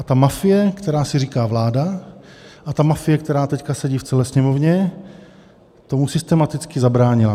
A ta mafie, která si říká vláda, a ta mafie, která teď sedí v celé Sněmovně, tomu systematicky zabránila.